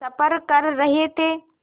सफ़र कर रहे थे